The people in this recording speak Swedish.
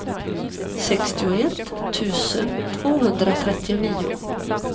sextioett tusen tvåhundratrettionio